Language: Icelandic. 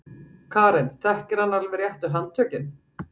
Karen: Þekkir hann alveg réttu handtökin?